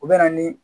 U bɛ na ni